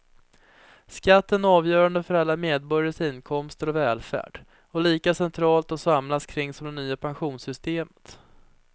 Skatten är avgörande för alla medborgares inkomster och välfärd och lika centralt att samlas kring som det nya pensionssystemet.